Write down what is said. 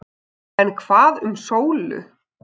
En hvað um Sólu.